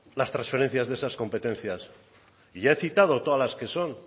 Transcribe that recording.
las transferencias de esas competencias y ya he citado todas las que son